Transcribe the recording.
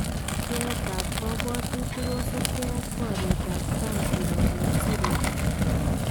Pcheyeet ab kabwatutik kosubkee ak baryeet ab Trump kirooken Syria